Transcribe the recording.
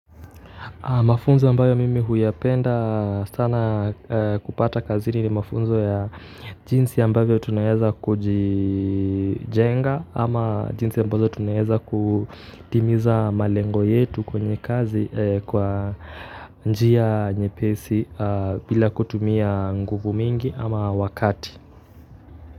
Mafunzo ambayo mimi huyapenda sana kupata kazini ni mafunzo ya jinsi ambayo tunaweza kujijenga ama jinsi ambayo tunayeza kutimiza malengo yetu kwenye kazi kwa njia nyepesi bila kutumia nguvu mingi ama wakati.